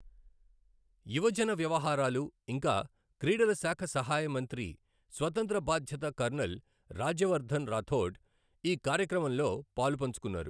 యువజన వ్యవహారాలు, ఇంకా క్రీడల శాఖ సహాయ మంత్రి స్వతంత్ర బాధ్యత కర్నల్ రాజ్యవర్ధన్ రాఠౌడ్ ఈ కార్యక్రమం లో పాలుపంచుకొన్నారు.